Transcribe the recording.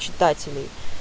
читателей